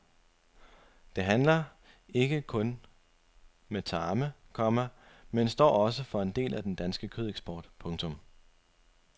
De handler ikke kun med tarme, komma men står også for en del af den danske kødeksport. punktum